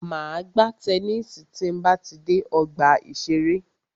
Máa gbá tennisi tí a bá ti dé ọgbà ìṣẹ̀rẹ́.